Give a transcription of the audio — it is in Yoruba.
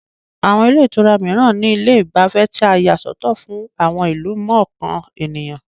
Àwọn ilé ìtura mìíran ní ilé ìgbafẹ́ tí a yà sọ́tọ̀ fún àwọn ìlú mọ̀ọ́kàn ènìyàn